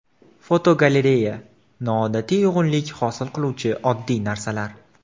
Fotogalereya: Noodatiy uyg‘unlik hosil qiluvchi oddiy narsalar.